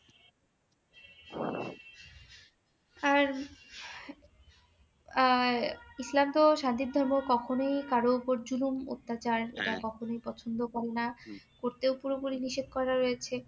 আর আহ ইসলাম তো সান্তির ধর্ম কখনোই কারোর ওপর জুলুম অত্যাচার সেটা কখনই পছন্দ করেনা করতেও পুরো পুরি নিষেধ করা রয়েছে